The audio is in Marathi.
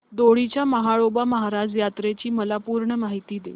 दोडी च्या म्हाळोबा महाराज यात्रेची मला पूर्ण माहिती दे